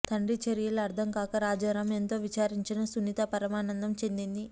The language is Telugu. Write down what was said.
తండ్రి చర్యలు అర్ధం కాక రాజారాం ఎంతో విచారించినా సునీత పరమానందం చెందింది